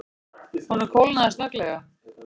Honum kólnaði snögglega.